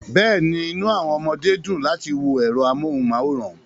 Bẹ́ẹ̀ni, inú àwọn ọmọdé dùn láti wo ẹ̀rọ amóhùnmáwòrán